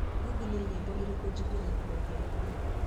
Google nĩ nyĩmbo irĩkũ njiguĩte maita ta ikũmi